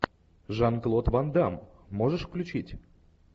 жан клод ван дамм можешь включить